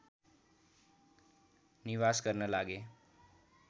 निवास गर्न लागे